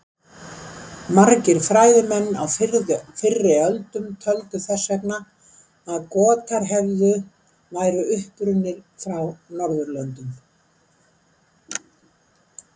Margir fræðimenn á fyrri öldum töldu þess vegna að Gotar hefðu væru upprunnir frá Norðurlöndum.